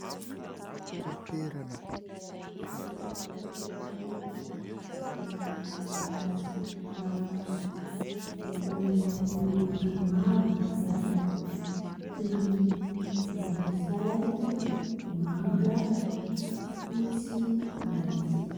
Vorona tsara tarehy iray, miloko volomparasy ny vavany ; ahitana loko marevaka maro ny vatany toy ny volomboasary, manga, fotsy, mainty.